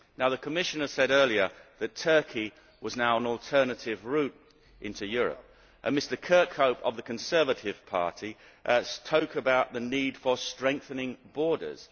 The Commissioner said earlier that Turkey was now an alternative route into Europe, and Mr Kirkhope of the Conservative Party spoke about the need for strengthening borders.